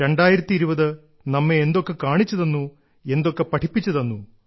2020 നമ്മെ എന്തൊക്കെ കാണിച്ചു തന്നു എന്തൊക്കെ പഠിപ്പിച്ചു തന്നു